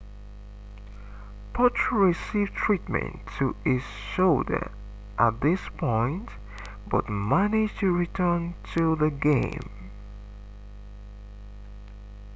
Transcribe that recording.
potro received treatment to his shoulder at this point but managed to return to the game